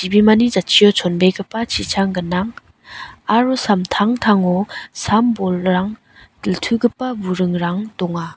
jatchio chonbegipa chichang gnang aro samtangtango sam-bolrang diltugipa burungrang donga.